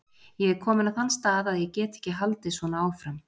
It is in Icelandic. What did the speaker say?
Ég er kominn á þann stað að ég get ekki haldið svona áfram.